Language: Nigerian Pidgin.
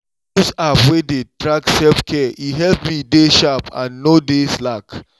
use app wey dey track self-care e help me dey sharp and no dey slack.